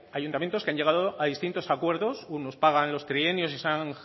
ayuntamientos que han llegado a distintos acuerdos unos pagan los trienios